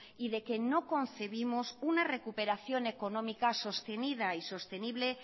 y de que no concebimos una recuperación económica sostenida y sostenible